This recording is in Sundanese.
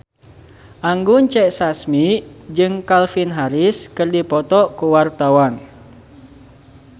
Anggun C. Sasmi jeung Calvin Harris keur dipoto ku wartawan